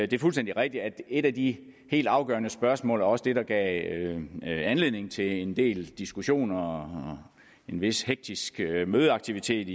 det er fuldstændig rigtigt at et af de helt afgørende spørgsmål og også det der gav anledning til en del diskussioner og en vis hektisk mødeaktivitet